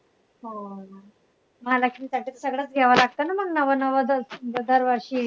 हो ना. महालक्ष्मीसाठी तर सगळंच घ्यावं लागतं ना मंग नवं नवं दरवर्षी.